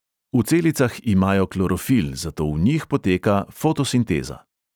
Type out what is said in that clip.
V celicah imajo klorofil, zato v njih poteka fotosinteza.